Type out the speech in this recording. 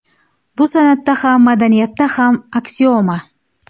Bu san’atda ham, madaniyatda ham aksioma!